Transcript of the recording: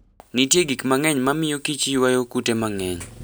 Nitie gik mang'eny mamiyo kich ywayo kute mang'eny